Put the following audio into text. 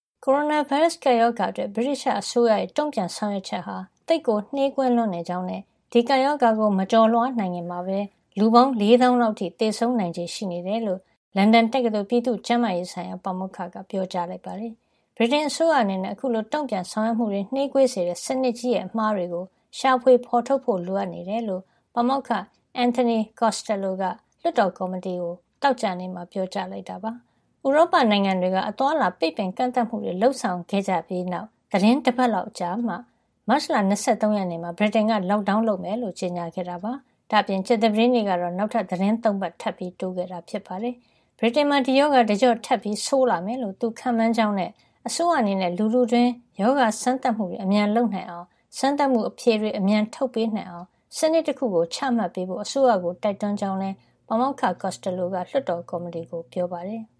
ကိုရိုနာဗိုင်းရပ်စ် ကပ်ရောဂါအတွက် ဗြိတိသျှ အစိုးရရဲ့ တုံ့ပြန်ဆောင်ရွက်ချက်ဟာ သိပ်ကို နှေးကွေးလွန်းနေကြောင်းနဲ့ ဒီကပ်ရောဂါကို မကျော်လွှား နိုင်ခင်မှာပဲ လူပေါင်း ၄ သောင်းလောက် အထိ သေဆုံးနိုင်ချေ ရှိနေတယ်လို့ လန်ဒန်တက္ကသိုလ် ပြည်သူ့ကျန်းမာရေး ဆိုင်ရာ ပါမောက္ခ က ပြောကြားလိုက်ပါတယ်။ ဗြိတိန်အစိုးရ အနေနဲ့ အခုလို တုံ့ပြန်ဆောင်ရွက်မှုတွေ နှေးကွေးစေတဲ့ စနစ်ကြီးရဲ့ အမှားတွေကို ရှာဖွေဖေါ်ထုတ်ဖို့ လိုအပ်နေတယ်လို့ ပါမောက္ခ Anthony Costello က လွှတ်တော်ကော်မတီကို သောကြာနေ့မှာ ပြောကြားလိုက်တာပါ။ ဥရောပ နိုင်ငံတွေက အသွားအလာ ပိတ်ပင်ကန့်သတ်မှုတွေ လုပ်ဆောင်ခဲ့ကြတဲ့နောက် သီတင်းတပတ်လောက်ကြာမှ မတ်လ ၂၃ ရက်နေ့မှာ ဗြိတိန်က lockdown လုပ်မယ်လို့ ကြေညာခဲ့တာပါ။ ဒါ့အပြင် ကြာသပတေးနေ့ကတော့ နောက်ထပ် သီတင်း ၃ ပတ် ထပ်တိုးခဲ့တာ ဖြစ်ပါတယ်။ ဗြိတိန်နိုင်ငံမှာ ဒီရောဂါ တကျော့ထပ်ဆိုးလာမယ်လို့ သူခန့်မှန်းကြောင်းနဲ့ အစိုးရ အနေနဲ့ လူထုတွင်း ရောဂါစမ်းသပ်မှုတွေ အမြန်လုပ်နိုင်အောင်နဲ့ စမ်းသပ်မှုအဖြေတွေ အမြန်ထုတ်ပေးနိုင်အောင် စနစ်တခုကို ချမှတ်ပေးဖို့ အစိုးရကို တိုက်တွန်းကြောင်းလည်း ပါမောက္ခ Costello က လွှတ်တော် ကော်မတီကို ပြောပါတယ်။